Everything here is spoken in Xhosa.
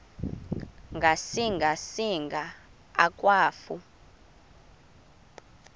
ngasinga singa akwafu